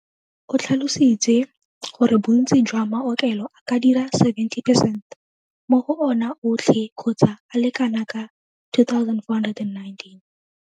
O tlhalositse gore bontsi jwa maokelo a ka dira 70 percent mo go ona otlhe kgotsa a le kanaka 2 419.